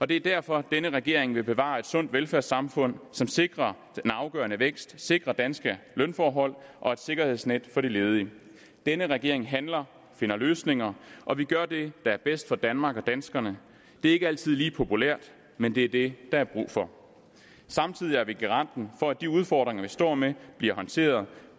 det er derfor denne regering vil bevare et sundt velfærdssamfund som sikrer den afgørende vækst sikrer danske lønforhold og et sikkerhedsnet for de ledige denne regering handler finder løsninger og vi gør det der er bedst for danmark og danskerne det er ikke altid lige populært men det er det der er brug for samtidig er vi garanten for at de udfordringer vi står med bliver håndteret